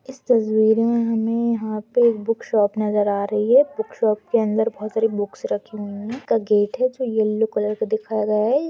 इस तस्वीर मे यहाँ पे हमे एक बुक शॉप नजर आ रही है बुक शॉप के अंदर बहुत सारे बुक्स रखे हुए है का गेट है जो येलो कलर का दिखाया गया है।